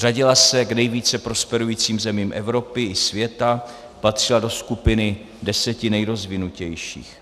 Řadila se k nejvíce prosperujícím zemím Evropy i světa, patřila do skupiny deseti nejrozvinutějších.